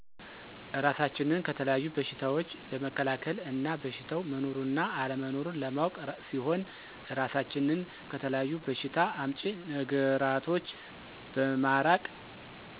እራሳችንን ከተለያዩ በሸታዎች ለመከላከል እና በሸታው መኖሩንና አለመኖሩን ለማወቅ ሲሆን እራሳችንን ከተለያዪ በሸታ አምጪ ነገራቶች በማራቅ